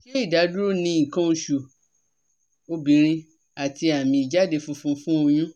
Se idaduro ni ikan osu obinrin ati ami ijade funfun fun oyun?